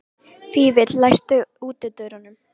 Fífill, læstu útidyrunum.